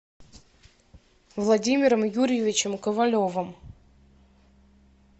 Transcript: владимиром юрьевичем ковалевым